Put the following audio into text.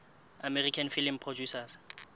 american film producers